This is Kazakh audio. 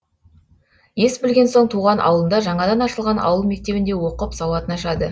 ес білген соң туған ауылында жаңадан ашылған ауыл мектебінде оқып сауатын ашады